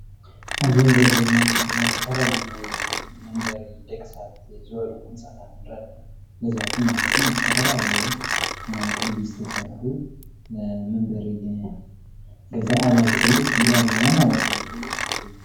አብዚ ንሪኦ ዘለና ምስሊ ድማ ዝተፈላለዩ ናይ መንበሪ ደቂ ሰባት ዝበሉ ህንፃታት ንርኢ አለና። ገዛውቲ ማለት እዩ ዝተፈላለየ ቅዲ ዝተሰርሑ ንመንበሪ ገዛ አባይቲ ንርኢ አለና ማለት እዩ።